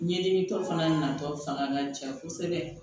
Ɲɛɲinitɔ fana natɔ fanga ka ca kosɛbɛ